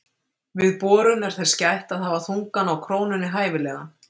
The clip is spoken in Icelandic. Við borun er þess gætt að hafa þungann á krónunni hæfilegan.